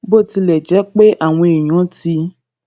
bó tilè jé pé àwọn èèyàn ti